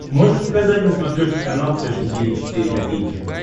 можешь показать на смотрешке канал фэшн ти ви четыре ка